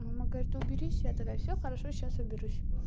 мама говорит уберись я тогда всё хорошо сейчас уберусь